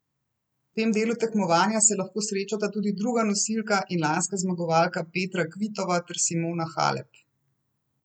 V tem delu tekmovanja se lahko srečata tudi druga nosilka in lanska zmagovalka Petra Kvitova ter Simona Halep.